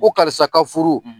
Ko karisa ka furu.